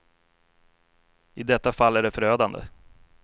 I detta fall är det förödande.